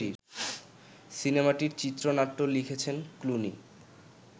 সিনেমাটির চিত্রনাট্য লিখেছেন ক্লুনি